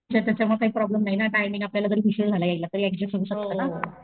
च्या त्याच्यामुळं काही प्रॉब्लेम नाही ना टाईमिंग आपल्याला जरी उशीर झाला येयला तरी ऍडजस्ट होऊ शकत ना.